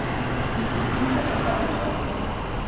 di bofitlha fa gare ga